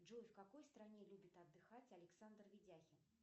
джой в какой стране любит отдыхать александр видяхин